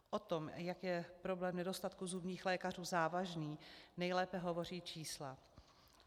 O tom, jak je problém nedostatku zubních lékařů závažný, nejlépe hovoří čísla.